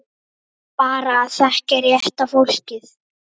Einsog ég sé ný.